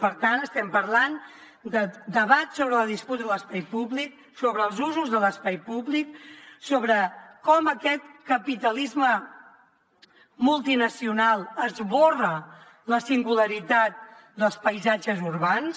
per tant estem parlant de debat sobre la disputa de l’espai públic sobre els usos de l’espai públic sobre com aquest capitalisme multinacional esborra la singularitat dels paisatges urbans